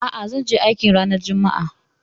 A'a, zanje aikin ranar juma'a